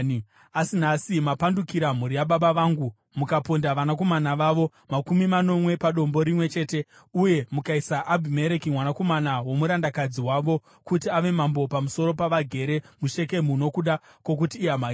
(asi nhasi mapandukira mhuri yababa vangu, mukaponda vanakomana vavo makumi manomwe padombo rimwe chete, uye mukaisa Abhimereki, mwanakomana womurandakadzi wavo kuti ave mambo pamusoro pavagere muShekemu nokuda kwokuti ihama yenyu),